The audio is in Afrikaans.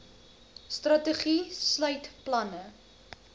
strategie sluit planne